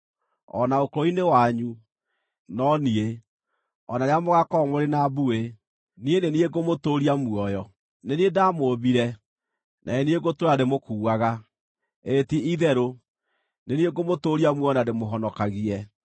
O na ũkũrũ-inĩ wanyu, no niĩ, o na rĩrĩa mũgaakorwo mũrĩ na mbuĩ, niĩ nĩ niĩ ngũmũtũũria muoyo. Nĩ niĩ ndaamũũmbire, na nĩ niĩ ngũtũũra ndĩmũkuuaga, ĩĩ ti-itherũ nĩ niĩ ngũmũtũũria muoyo na ndĩmũhonokagie.